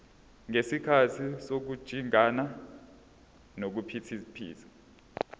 ngesikhathi sokujingana nokuphithiza